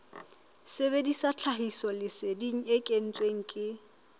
sebedisa tlhahisoleseding e kentsweng ke